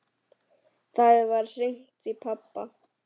Þá var hringt í pabba.